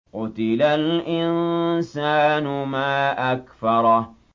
قُتِلَ الْإِنسَانُ مَا أَكْفَرَهُ